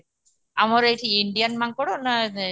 ଆମର ଏଠି ଇଣ୍ଡିଆନ ମାଙ୍କଡ ନା